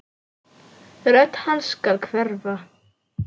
Rödd hans skal hverfa.